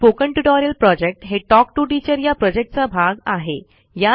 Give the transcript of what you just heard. spoken tutorial project हे talk to teacher या प्रॉजेक्टचा भाग आहे